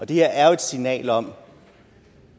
det her er jo et signal om